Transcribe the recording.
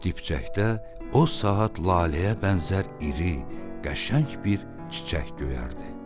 Dipçəkdə o saat laləyə bənzər iri, qəşəng bir çiçək göyərdi.